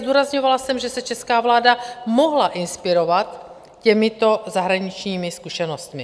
Zdůrazňovala jsem, že se česká vláda mohla inspirovat těmito zahraničními zkušenostmi.